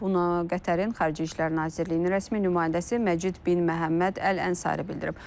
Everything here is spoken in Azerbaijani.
Bunu Qətərin Xarici İşlər Nazirliyinin rəsmi nümayəndəsi Məcid bin Məhəmməd Əl-Ənsari bildirib.